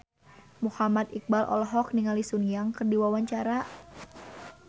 Muhammad Iqbal olohok ningali Sun Yang keur diwawancara